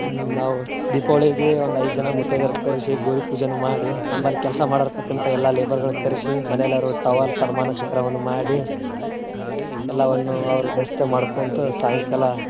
ಹ್ಮ್ ನಾವ್ ದೀಪಾವಳಿಗೆ ಒಂದ್ ಐದ ಜನಾ ಮುತೈದೆಯರ ಕರಿಸಿ ಗೌರಿ ಪೂಜೆನು ಮಾಡಿ. ನಮ್ಮಲ್ಲಿ ಕೆಲ್ಸಾ ಮಾಡರತಕ್ಕಂತ ಎಲ್ಲಾ labour ಗಳ ಕರೆಸಿ ಮನೆಯಲ್ಲಿ ಅವ್ರಗ ಟವಲ್ ಸನ್ಮಾನ ಮಾಡಿ ಎಲ್ಲವನ್ನು ಅವ್ರ ಮಾಡ್ಕೊಂತ ಸಾಯಂಕಾಲಾ.